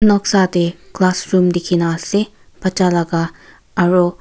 noksa tae classroom dikhina ase bacha laka aro.